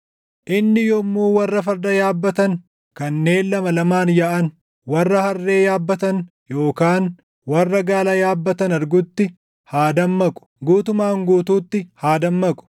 Inni yommuu warra farda yaabbatan kanneen lama lamaan yaaʼan, warra harree yaabbatan yookaan warra gaala yaabbatan argutti, haa dammaqu; guutumaan guutuutti haa dammaqu.”